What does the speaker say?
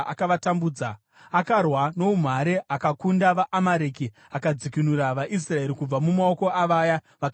Akarwa noumhare akakunda vaAmereki, akadzikinura vaIsraeri kubva mumaoko avaya vakanga vavapamba.